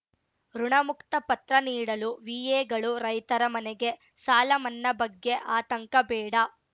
ಋುಣಮುಕ್ತ ಪತ್ರ ನೀಡಲು ವಿಎಗಳು ರೈತರ ಮನೆಗೆ ಸಾಲ ಮನ್ನಾ ಬಗ್ಗೆ ಆತಂಕ ಬೇಡ